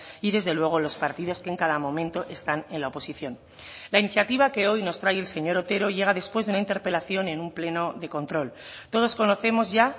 y desde luego los partidos que en cada momento están en la oposición la iniciativa que hoy nos trae el señor otero llega después de una interpelación en un pleno de control todos conocemos ya